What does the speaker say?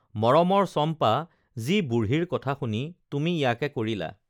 মৰমৰ চম্পা যি বুঢ়ীৰ কথা শুনি তুমি ইয়াকে কৰিলা